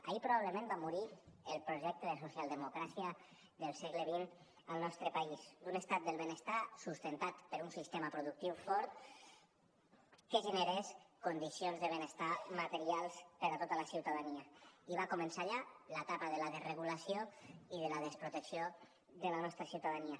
allí probablement va morir el projecte de socialdemocràcia del segle xx al nostre país d’un estat del benestar sustentat per un sistema productiu fort que generava condicions de benestar materials per a tota la ciutadania i va començar allà l’etapa de la desregulació i de la desprotecció de la nostra ciutadania